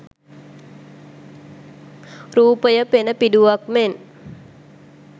රූපය පෙනපිඬුවක් මෙන්